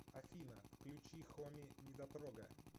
афина включи хоми недотрога